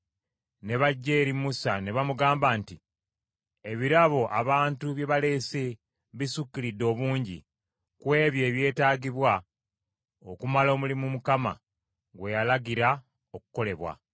ne bajja eri Musa ne bamugamba nti, “Ebirabo abantu bye baleese bisukkiridde obungi ku ebyo ebyetaagibwa okumala omulimu Mukama gwe yalagira okukolebwa.”